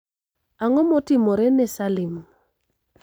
Ang'o motimore ne Salim